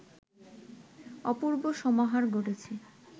অপূর্ব সমাহার ঘটেছে